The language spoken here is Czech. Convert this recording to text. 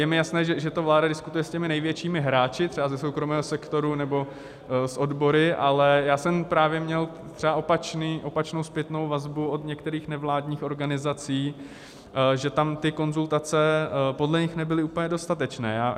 Je mi jasné, že to vláda diskutuje s těmi největšími hráči třeba ze soukromého sektoru nebo s odbory, ale já jsem právě měl třeba opačnou zpětnou vazbu od některých nevládních organizací, že tam ty konzultace podle nich nebyly úplně dostatečné.